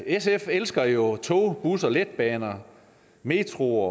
sf elsker jo tog busser letbane metro